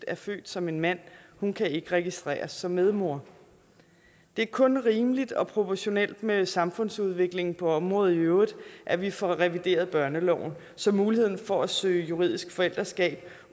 er født som en mand hun kan ikke registreres som medmor det er kun rimeligt og proportionelt med samfundsudviklingen på området i øvrigt at vi får revideret børneloven så muligheden for at søge juridisk forældreskab